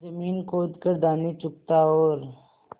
जमीन खोद कर दाने चुगता और